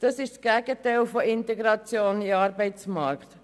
Das ist das Gegenteil von Integration in den Arbeitsmarkt.